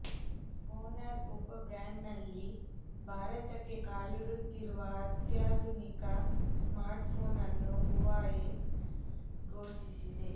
Honor ಉಪ ಬ್ರ್ಯಾಂಡ್ನಲ್ಲಿ ಭಾರತಕ್ಕೆ ಕಾಲಿಡುತ್ತಿರುವ ಅತ್ಯಾಧುನಿಕ ಸ್ಮಾರ್ಟ್ಫೋನ್ ಅನ್ನು ಹುವಾವೆ ಫೋಷಿಸಿದೆ